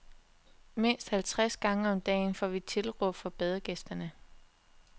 Mindst halvtreds gange om dagen får vi tilråb fra badegæsterne.